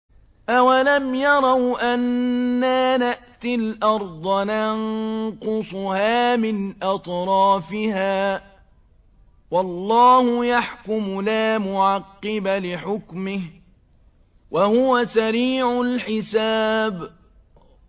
أَوَلَمْ يَرَوْا أَنَّا نَأْتِي الْأَرْضَ نَنقُصُهَا مِنْ أَطْرَافِهَا ۚ وَاللَّهُ يَحْكُمُ لَا مُعَقِّبَ لِحُكْمِهِ ۚ وَهُوَ سَرِيعُ الْحِسَابِ